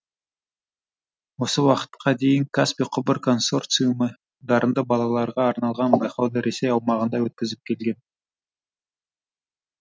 осы уақытқа дейін каспий құбыр консорциумы дарынды балаларға арналған байқауды ресей аумағында өткізіп келген